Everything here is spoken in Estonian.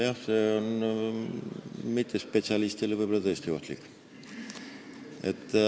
Jah, see on mittespetsialistile võib-olla tõesti ohtlik.